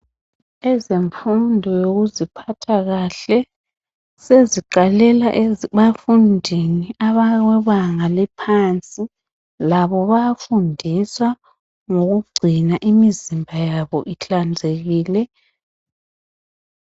ezemfundo yokuziphatha kahle seziqalela abafundini abebanga eliphansi labo bayafundiswa ngokugcina imizimba yabo ihlanzekile